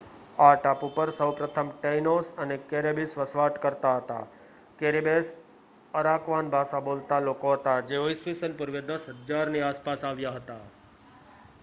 આ ટાપુ પર સૌપ્રથમ ટેઇનોસ અને કેરિબેસ વસવાટ કરતા હતા કેરિબેસ અરાકવાન ભાષા બોલતા લોકો હતા જેઓ ઇ.સ. પૂર્વે 10,000 ની આસપાસ આવ્યા હતા